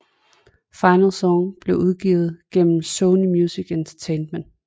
Final Song blev udgivet gennem Sony Music Entertainment